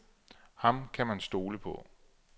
Ham kan man stole på.